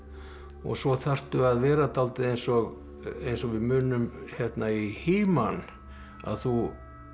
og svo þarftu að vera dálítið eins og eins og við munum í He man að þú